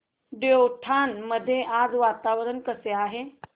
देवठाण मध्ये आज वातावरण कसे आहे